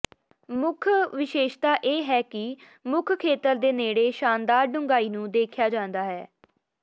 ਮੁੱਖ ਵਿਸ਼ੇਸ਼ਤਾ ਇਹ ਹੈ ਕਿ ਮੁੱਖ ਖੇਤਰ ਦੇ ਨੇੜੇ ਸ਼ਾਨਦਾਰ ਡੂੰਘਾਈ ਨੂੰ ਦੇਖਿਆ ਜਾਂਦਾ ਹੈ